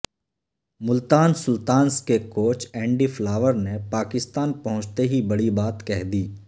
Multan Sultans کے coach Andy فلاورنے پاکستان پہنچتے ہی بڑی بات کہہ دی